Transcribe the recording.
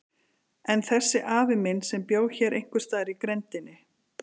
En þessi afi minn, sem bjó hér einhvers staðar í grenndinni.